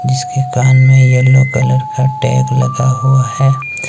जिसके कान में येलो कलर का टैग लगा हुआ है।